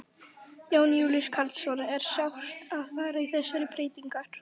Jón Júlíus Karlsson: Er sárt að fara í þessar breytingar?